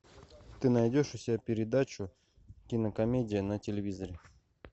ты найдешь у себя передачу кинокомедия на телевизоре